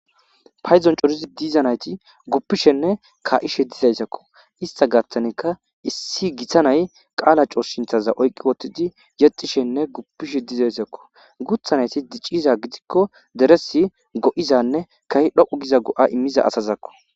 payzon corizi diizanayti guppishenne ka7ishe dizayssakko ista gatanikka issi giththanay qaala coos sinthaza oyqqi wottidi yexishenne guppishe diizayssakko guthanayti diciza gidikko deresi go7izanne kahi dhoqu giza go7a immiza asazakko